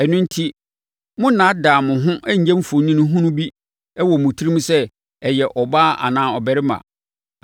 Ɛno enti, Monnnaadaa mo ho nyɛ mfoni hunu bi wɔ mo tirim sɛ ɔyɛ ɔbaa anaa ɔbarima,